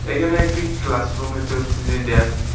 এইখানে একটি ক্লাসরুম দেখতে পারতেসি ড্যান্স --